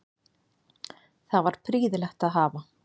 Það var prýðilegt að hafa